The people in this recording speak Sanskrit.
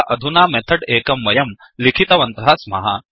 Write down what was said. अतः अधुना मेथड् एकं वयं लिखितवन्तः स्मः